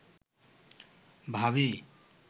ভাবী